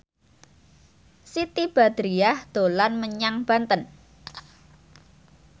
Siti Badriah dolan menyang Banten